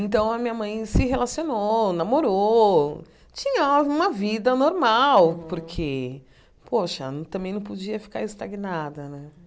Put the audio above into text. Então a minha mãe se relacionou, namorou, tinha uma vida normal, porque, poxa, também não podia ficar estagnada, né?